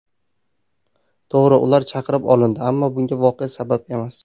To‘g‘ri ular chaqirib olindi, ammo bunga voqea sabab emas.